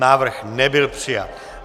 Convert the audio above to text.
Návrh nebyl přijat.